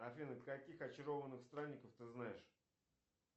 афина каких очарованных странников ты знаешь